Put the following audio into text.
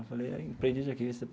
Eu falei, aprendiz de arquivista.